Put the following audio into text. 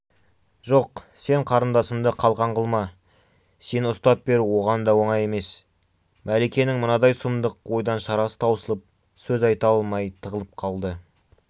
жоқ сен қарындасымды қалқан қылма сені ұстап беру оған да оңай емес мәликенің мынадай сұмдық ойдан шарасы таусылып сөз айта алмай тығылып қалды